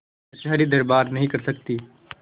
कचहरीदरबार नहीं कर सकती